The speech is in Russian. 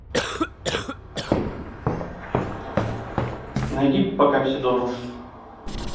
найди пока все дома